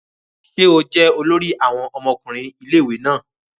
Ṣe o jẹ olori àwọn ọmọkùnrin ilé-ìwé náà?